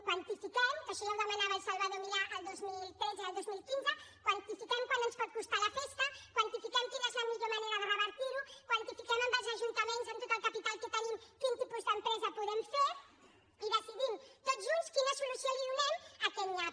quantifiquem que això ja ho demanava el salvador milà el dos mil tretze i el dos mil quinze quant ens pot costar la festa quantifiquem quina és la millor manera de revertir ho quantifiquem amb els ajuntaments amb tot el capital que tenim quin tipus d’empresa podem fer i decidim tots junts quina solució donem a aquest nyap